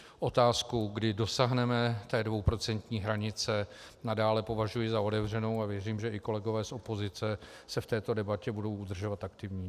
Otázku, kdy dosáhneme té dvouprocentní hranice, nadále považuji za otevřenou a věřím, že i kolegové z opozice se v této debatě budou udržovat aktivní.